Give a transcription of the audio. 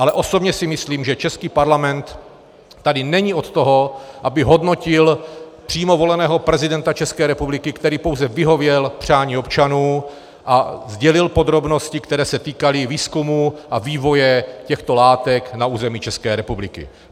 Ale osobně si myslím, že český parlament tady není od toho, aby hodnotil přímo voleného prezidenta České republiky, který pouze vyhověl přání občanů a sdělil podrobnosti, které se týkaly výzkumu a vývoje těchto látek na území České republiky.